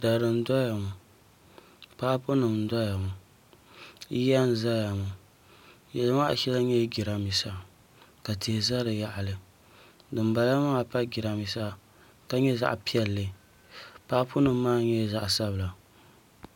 Dari n doya paapu nim n doya ŋɔ yiya n ʒɛya ŋɔ yili maa shɛli nyɛla jiranbiisa ka tihi ʒɛ di yaɣali dinbala maa pa jiranbiisa ka nyɛ zaɣ piɛlli paapu nim maa nyɛ zaɣ sabila